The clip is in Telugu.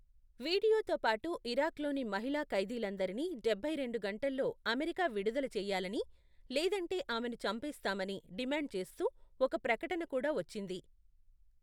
వీడియోతో పాటు ఇరాక్లోని మహిళా ఖైదీలందరినీ డబ్బై రెండు గంటల్లో అమెరికా విడుదల చేయాలని, లేదంటే ఆమెను చంపేస్తామని డిమాండ్ చేస్తూ ఒక ప్రకటన కూడా వచ్చింది.